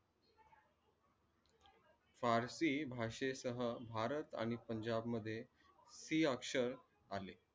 पारशी भाषेश भारत आणि पंजाब मध्ये ती अक्षर आले.